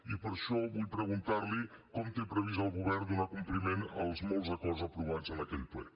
i per això vull preguntar li com té previst el govern donar compliment als molts acords aprovats en aquell ple